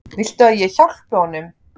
Viltu að ég hjálpi honum?